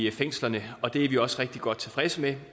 i fængslerne og det er vi også rigtig godt tilfredse med